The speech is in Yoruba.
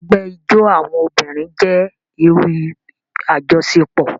Ẹgbẹ ijó awọn obirin jẹ iru ajọṣepọ.